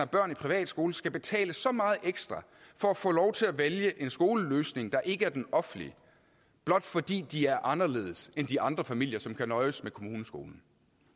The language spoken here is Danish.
børn i privatskole skal betale så meget ekstra for at få lov til at vælge en skoleløsning der ikke er den offentlige blot fordi de er anderledes end de andre familier som kan nøjes med kommuneskolen